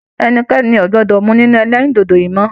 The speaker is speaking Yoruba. Ẹnikẹni o gbọdọ mú nínú ẹlẹrindodo yìí mọ!